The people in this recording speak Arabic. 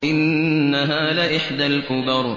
إِنَّهَا لَإِحْدَى الْكُبَرِ